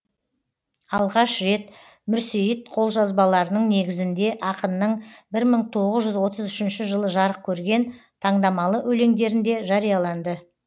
алғаш рет мүрсейіт қолжазбаларының негізіңде ақынның бір мың тоғыз жүз отыз үшінші жылы жарық көрген тандамалы өлеңдерінде жарияланды